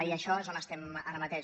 i en això és on estem ara mateix